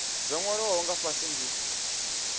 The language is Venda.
zwo nwaliwaho nga fhasi ndi